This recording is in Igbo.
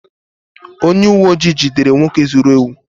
onye uwe ojii jidere nwoke zuru ewu